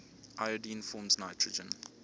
iodine forms nitrogen